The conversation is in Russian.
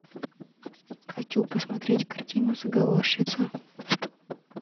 хочу посмотреть картину заговорщица